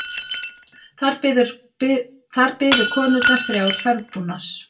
Þar biðu konurnar þrjár ferðbúnar.